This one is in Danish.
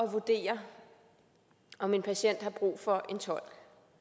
at vurdere om en patient har brug for en tolk